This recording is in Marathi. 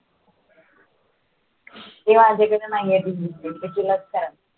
ती माझ्याकडे नाही आहे.